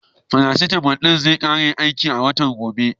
Faracitamal ɗin zai ƙare aiki a watan gobe.